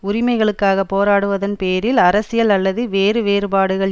உரிமைகளுக்காக போராடுவதன் பேரில் அரசியல் அல்லது வேறு வேறுபாடுகள்